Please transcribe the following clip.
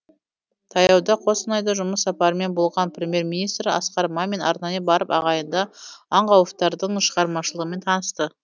таяуда қостанайда жұмыс сапарымен болған премьер министр асқар мамин арнайы барып ағайынды аңқауовтардың шығармашылығымен танысты